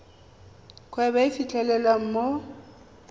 kgwebo e e fitlhelwang mo